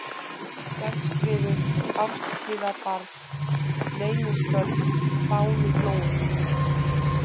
Selskriður, Kárshlíðarbarð, Leynisbörð, Fáluflói